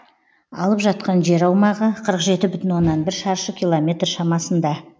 алып жатқан жер аумағы қырық жеті бүтін оннан бір шаршы километр шамасында